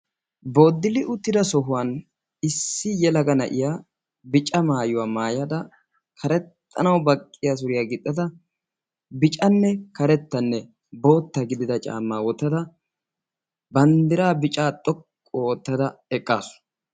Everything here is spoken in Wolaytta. Booddili uttidi sohuwaan issi yelaga na'iya bicca maayuwaa maayada karexxanawu baqqiyaa suriyaa gixxada biccanne karettanne bootta gidida caammaa wottada banddiraa bicaa xoqqu oottada eqqaasu.